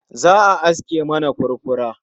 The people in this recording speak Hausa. Za'a aske mana furfura